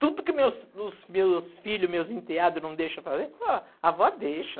Tudo que meus meus meus filhos, meus enteados não deixam fazer, a avó deixa.